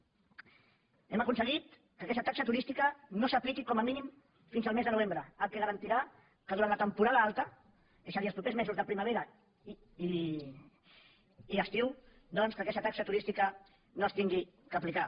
hem aconseguit que aquesta taxa turística no s’apliqui com a mínim fins el mes de novembre fet que garantirà que durant la temporada alta és a dir els propers mesos de primavera i estiu doncs aquesta taxa turística no s’hagi d’aplicar